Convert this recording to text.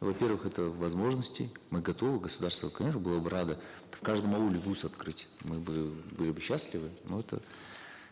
во первых это возможности мы готовы государство конечно было бы радо в каждом ауле вуз открыть мы бы были бы счастливы но это